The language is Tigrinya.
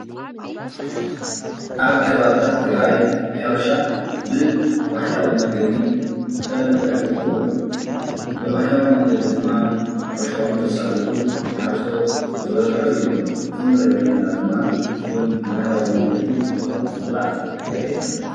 ኣብ ከባቢታት ትግራይ ሕረሻ ብባህላዊ መንገዲ ዝተለመደ እንትከውን ብባህላዊ መንገዲ ድማ ሕርሸኦም ዘሳልጡ ሓረስቶት ዝበዝሑ እዮም። እዚ እንሪኦ ዘለና ድማ ፉል ብባህላዊ መንገዲ እንትዝራእ የሪኤና።